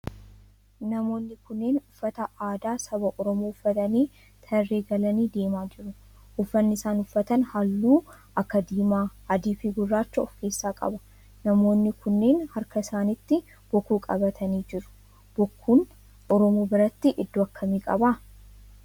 Namoonni kunneen uffata aadaa saba oromoo uffatanii tarree galanii deemaa jiru. Uffanni isaan uffatan halluu akka diimaa, adii fi gurraacha of keessaa qaba. Namoonni kunneen harka isaanitti bokkuu qabatanii jiru. Bokkuun oromoo biratti iddoo akkamii qaba?